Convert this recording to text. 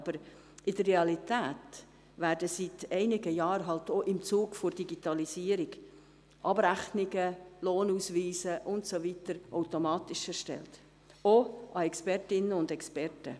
Doch in der Realität werden seit einigen Jahren, auch im Zuge der Digitalisierung, Abrechnungen, Lohnausweise und so weiter automatisch erstellt, auch an Expertinnen und Experten.